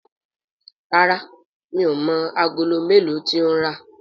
ràrá mi'o mọ Àgòló melo tí o ń rá.